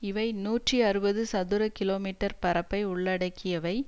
இவை நூற்றி அறுபது சதுர கிலோ மீட்டர் பரப்பை உள்ளடக்கியவை